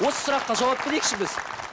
осы сұраққа жауап берейікші біз